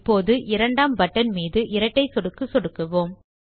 இப்போது இரண்டாம் பட்டன் மீது இரட்டை சொடுக்கு சொடுக்குவோம்